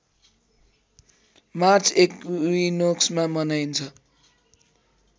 March एक्विनोक्समा मनाइन्छ